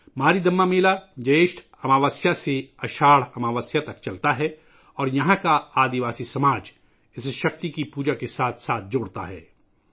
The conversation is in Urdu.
ماریدماّ میلہ جیشٹھ اماوسیہ سے اساڑھ اماوسیہ تک چلتا ہے اور یہاں کا قبائلی معاشرہ اسے شکتی پوجا کے ساتھ جوڑتا ہے